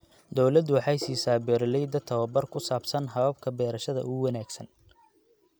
Dawladdu waxay siisaa beeralayda tabobar ku saabsan hababka beerashada ugu wanaagsan.